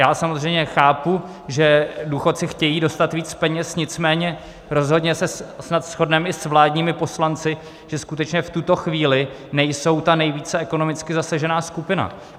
Já samozřejmě chápu, že důchodci chtějí dostat víc peněz, nicméně rozhodně se snad shodneme i s vládními poslanci, že skutečně v tuto chvíli nejsou ta nejvíce ekonomicky zasažená skupina.